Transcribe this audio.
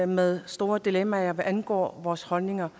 med store dilemmaer hvad angår vores holdninger